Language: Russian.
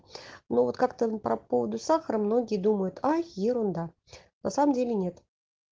ну вот как там по поводу сахара многие думают а ерунда на самом деле нет